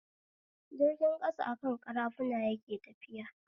Jirgin ƙasa akan ƙarafuna yake tafiya